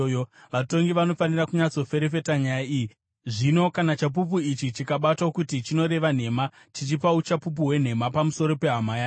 Vatongi vanofanira kunyatsoferefeta nyaya iyi, zvino kana chapupu ichi chikabatwa kuti chinoreva nhema, chichipa uchapupu hwenhema pamusoro pehama yake,